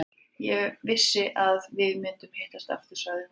Ég vissi að við myndum hittast aftur, sagði hún.